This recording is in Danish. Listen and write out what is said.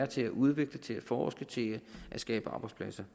til at udvikle til at forske til at skabe arbejdspladser